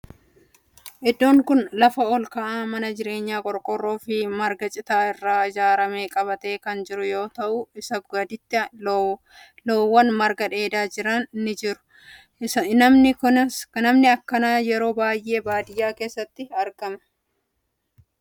Iddoon kun lafa olka'aa mana jireenya qorqoorroo fi marga citaa irraa ijaarame qabatee kan jiru yoo ta'u isaa gaditti loowwan marga dheedhaa jiran ni jiru. manni akkanaa yeroo baayyee baadiyaa keessatti ijaarama.